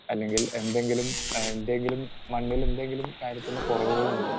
speaker 2 അല്ലെങ്കിൽ എന്തെങ്കിലും ആഹ് എന്തെങ്കിലും മണ്ണിലെന്തെങ്കിലും കാര്യത്തിൻറെ കുറവുകളുണ്ടോ